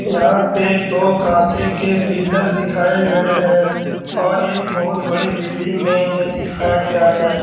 यहाँ पे दो काँसे के पिल्लर दिखाए गए हैं और ये एक बहुत बड़ी बिल्डिंग में ये दिखाया गया है।